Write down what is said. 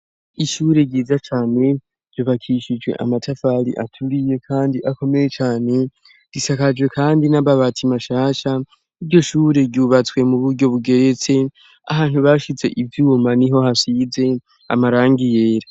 Ishure ryiza cane, ryubakishijwe amatafari aturiye kandi akomeye cane, risakajwe kandi n'amabati mashasha, iryo shure ryubatswe mu buryo bugeretse, ahantu bashize ivyuma niho hasize amarangi yera.